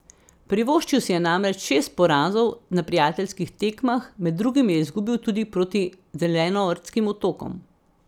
Privoščil si je namreč šest porazov na prijateljskih tekmah, med drugim je izgubil tudi proti Zelenortskim otokom.